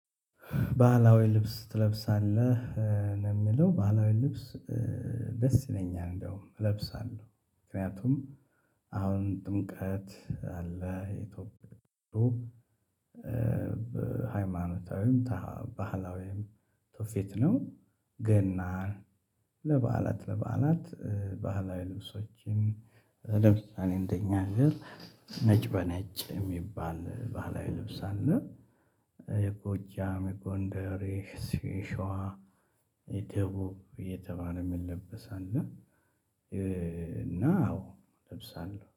ባህላዊ ልብስ ትለብሳለህ ነው የሚለው ባህላዊ ልብስ። ደስ ይለኛል እንደውም እለብሳለሁ ምክንያቱም አሁን ጥምቀት አለ ይቶብሆ በሃይማኖታዊም ባህላዊም ቱፊት ነው። ገናን ለበዓላት ለበዓላት ባህላዊ ልብሶችን ለምሳሌ እንደኛ አገር ነጭ በነጭ የሚባል ባላዊ ልብስ አለ። የጎጃም የጎንደሬ ሽዋ የደቡብ እየተባለ የሚለበሰ አለ። እና አዎ ለብሳለሁ